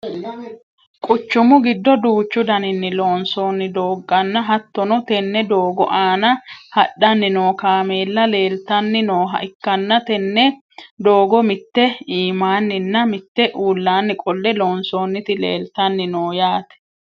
quchumu giddo duuchu daninni loonsoonni doogonna, hattono tenne doogo aana hadhanni noo kaameella leeltanni nooha ikkanna, tenne doogo mitte iimaanninna mitte uulaanni qolle loonsoonniti leeltanni non yaate.